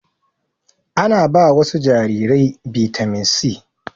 Ana ba wasu jarirai bitamin C